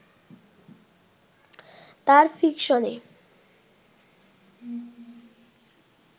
তার ফিকশনে